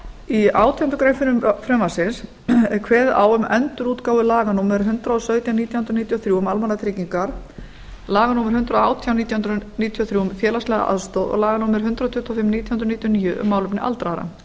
í átjándu grein frumvarpsins er kveðið á um endurútgáfu laga númer hundrað og sautján nítján hundruð níutíu og þrjú um almannatryggingar laga númer hundrað og átján nítján hundruð níutíu og þrjú um félagslega aðstoð og laga númer hundrað tuttugu og fimm nítján hundruð níutíu og níu um málefni aldraðra